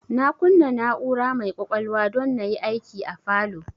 Na kunna na'ura mai kwakwalwa don na yi aiki a falow